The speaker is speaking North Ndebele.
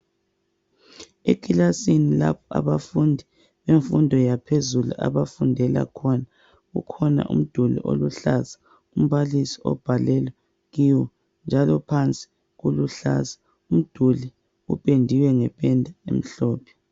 ekilasini lapho abafundi bemfundo yaphezulu abafundela khona kukhona umduli oluhlaza umbalisi obhalela kiwo njalo phansi kuluhlaza umduli upendiwe ngependa emhlophe